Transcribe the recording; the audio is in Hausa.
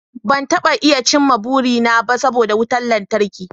Ban iya cimma burina ba saboda wutar lantarki